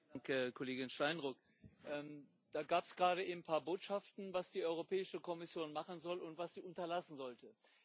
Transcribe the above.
Danke, Frau Kollegin Steinruck! Da gab es gerade eben ein paar Botschaften, was die Europäische Kommission machen soll und was sie unterlassen sollte.